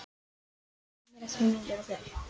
Aðalbjörg, heyrðu í mér eftir fimmtíu og fjórar mínútur.